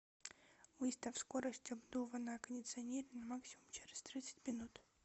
выставь скорость обдува на кондиционере на максимум через тридцать минут